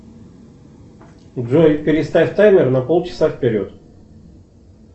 джой переставь таймер на полчаса вперед